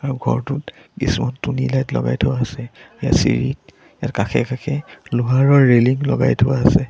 ঘৰটোত কিছু টুনি লাইট লগাই থোৱা আছে ইয়াৰ চিৰিত ইয়াৰ কাষে কাষে লোহাৰৰ ৰেলিং লগাই থোৱা আছে।